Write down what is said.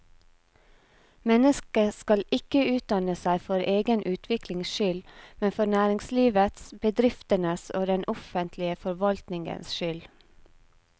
Mennesket skal ikke utdanne seg for egen utviklings skyld, men for næringslivets, bedriftenes og den offentlige forvaltningens skyld.